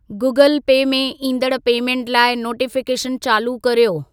Google Pay में ईंदड़ payment लाइ नोटिफिकेशन चालू कर्यो।